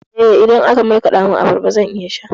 Eh, idan aka markaɗa min abarba zan iya sha.